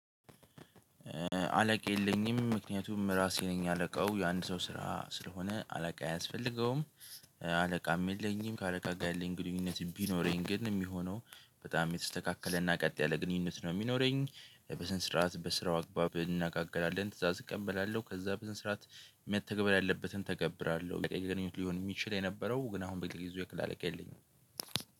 አለቃ የለኝም ምክንያቱም ራሴ ነኝ አለቃው የአንድ ሰው ስራ ስለሆነ አለቃ አያስፈልገውም። አለቃም የለኝም ከአለቃ ጋ የለኝ ግንኙነት ቢኖረኝ ግን የሚሆነው በጣም የተስተካከለና ቀጥ ያለ ግንኙነት ነው። የሚኖረኝ በስንነ ስርዓት በስራው አግባብ እንነጋገራለን ትእዛዝ እቀበላለሁ ከዛ በሰነ ስራአት መተግበር ያለበትን ተገብራለሁ። ግንኙነት ሊሆን የሚችል የነበረው ግን አሁን በጊዜው የክፍል አለቃ የለኝም።